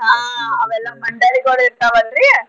ಮಂಡಳಿಗಳ್ ಇರ್ತಾವಲ್ರಿ.